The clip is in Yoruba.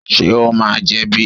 Ṣé o máa jẹ̀bi?